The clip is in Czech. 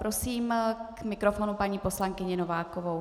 Prosím k mikrofonu paní poslankyni Novákovou.